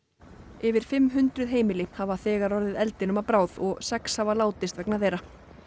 yfir fimm hundruð heimili hafa þegar orðið eldinum að bráð og sex hafa látist vegna þeirra